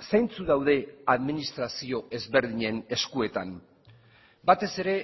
zeintzuk daude administrazio ezberdinen eskuetan batez ere